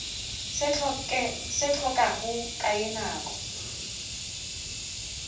se hlokago ka ye nako